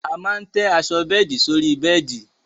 A máa tẹ́ aṣọ bẹ́ẹ̀di sórí bẹ́ẹ̀di